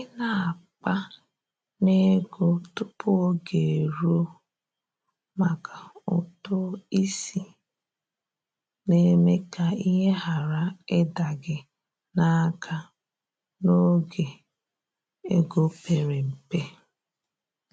i na akpa n'ego tupu oge eruo maka ụtụ isi na-eme ka ihe ghara ịda gị n’aka n’oge ego pere mpe.